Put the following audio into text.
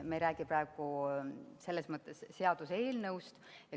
Me ei räägi praegu selles mõttes seaduseelnõust.